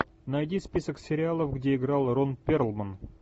найди список сериалов где играл рон перлман